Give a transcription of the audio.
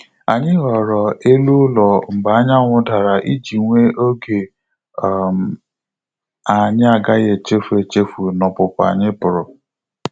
Anyị ghọrọ elu ụlọ mgbe anyanwu dara iji nwe oge anyị agaghị echefu echefu na opupu anyị puru